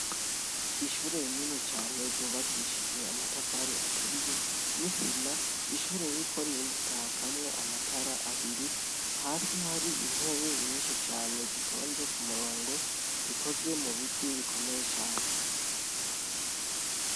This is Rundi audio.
Ishure rinini cane ryubakishijwe amatafari aturiye n'isima, ishure ririko rirakamwo amatara abiri hasi har'intebe nyinshi cane zitoze k'umurongo zikozwe mubiti bikomeye cane.